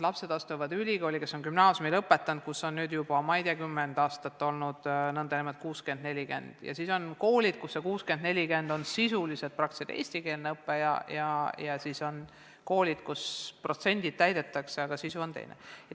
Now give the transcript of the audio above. Lapsed astuvad ülikooli, nad on lõpetanud gümnaasiumi, kus on nüüd juba ma ei tea, mitukümmend aastat olnud nn 60 : 40, aga on koole, kus see 60 : 40 tähendab sisuliselt eestikeelset õpet, ja siis on koolid, kus protsendid küll täidetakse, aga sisu on teine.